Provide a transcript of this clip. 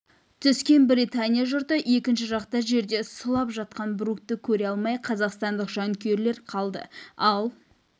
түскен британия жұрты екінші жақта жерде сұлап жатқан брукты көре алмай қазақстандық жанкүйерлер қалды ал